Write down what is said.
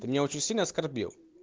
ты меня очень сильно оскорбил